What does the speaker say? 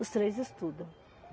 Os três estudam.